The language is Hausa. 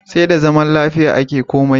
Sai da zama lafiya ake komai.